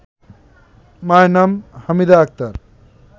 মায়ের নাম হামিদা আক্তার